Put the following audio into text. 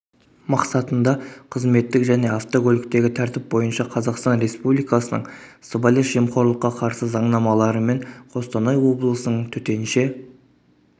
мақсатында қызметтік және автокөліктегі тәртіп бойынша қазақстан респуликасының сыбайлас жемқорлыққа қарсы заңнамаларымен қостанай облысының төтенше